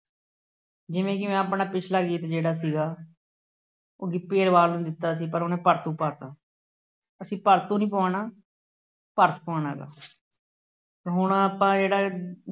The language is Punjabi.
ਜਿਵੇਂ ਜਿਵੇਂ ਆਪਣਾ ਪਿਛਲਾ ਗੀਤਾ ਜਿਹੜਾ ਸੀਗਾ ਉਹ ਗਿੱਪੀ ਗਰੇਵਾਲ ਨੂੰ ਦਿੱਤਾ ਸੀ ਪਰ ਉਹਨੇ ਭੜਥੂ ਪਾ ਦਿੱਤਾ। ਅਸੀਂ ਭੜਥੂ ਨਹੀਂ ਪਵਾਉਣਾ। ਭਰਤ ਪਵਾਉਣਾ ਹੈਗਾ। ਹੁਣ ਆਪਾਂ ਜਿਹੜਾ ਇਹ